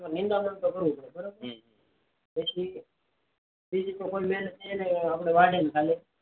નિદામણ કરેલ છે બરાબર પછી બીજ વાવન થાય